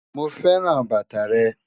Mo fẹ́ran bátà rẹ́